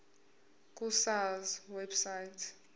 ku sars website